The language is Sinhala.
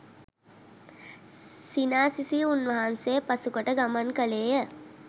සිනා සිසී උන්වහන්සේ පසුකොට ගමන් කළේය.